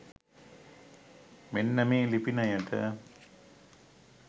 මෙන්න මේ ලිපිනයට.